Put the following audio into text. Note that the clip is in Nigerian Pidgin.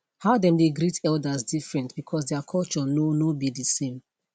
how them dey greet elders different because their culture no no be the same